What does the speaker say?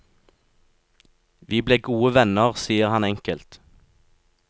Vi ble gode venner, sier han enkelt.